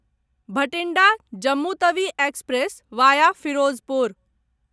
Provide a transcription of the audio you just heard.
Bathinda Jammu Tawi express via Firozpur